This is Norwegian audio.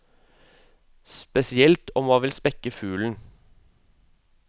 Spesielt om man vil spekke fuglen.